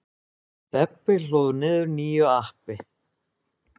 Stebbi hlóð niður nýju appi.